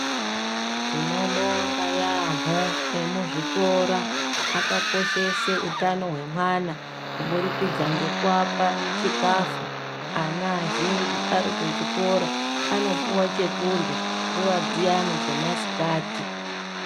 Tinobonga yambo emuzvikora akakoshesa utano hwevana kuburikidza nekuvapa chikafu ana azhinji ari kuzvikora anopuwa chekurya nguva dziyani dzamasikati.